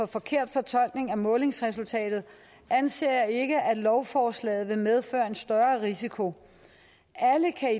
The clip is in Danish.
forkert fortolkning af målingsresultatet anser jeg ikke lovforslaget for at medføre en større risiko alle kan